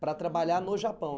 Para trabalhar no Japão?